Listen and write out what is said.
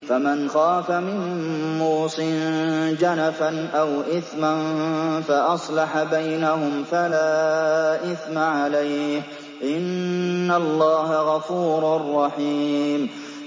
فَمَنْ خَافَ مِن مُّوصٍ جَنَفًا أَوْ إِثْمًا فَأَصْلَحَ بَيْنَهُمْ فَلَا إِثْمَ عَلَيْهِ ۚ إِنَّ اللَّهَ غَفُورٌ رَّحِيمٌ